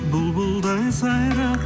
бұлбұлдай сайрап